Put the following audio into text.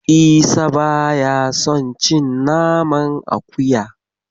Isa ba ya son cin naman akuya.